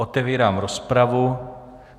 Otevírám rozpravu.